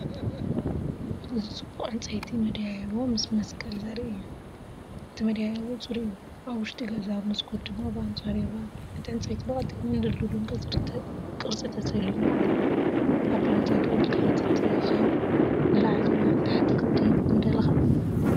እዚ ጽቡቕ ዕንጨይቲ መደያይቦ ምስ መስቀል ዘርኢ እዩ። እቲ መደያይቦ ጽሩይ እዩ፣ ኣብ ውሽጢ ገዛ፣ መስኮት ድማ ብኣንጻሩ ይርአ። እቲ ዕንጨይቲ ብቐጢንን ድልዱልን ቅርጺ ተሰሊሙ ኣሎ። ኣብ ደረጃ ደው ኢልካ እንተትኸውን፡ ንላዕሊ ወይ ንታሕቲ ክትድይብ ምደለካ?